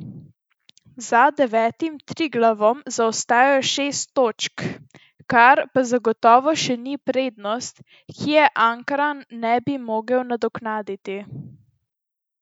Za devetim Triglavom zaostajajo šest točk, kar pa zagotovo še ni prednost, ki je Ankaran ne bi mogel nadoknaditi.